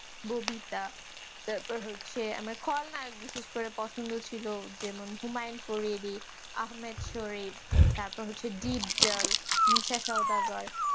ববিতা তারপর হচ্ছে আমার খলনায়ক বিশেষ করে পছন্দ ছিল যেমন হুমায়ূন আহমেদ শোয়েব তারপর হচ্ছে মিশা সওদাগর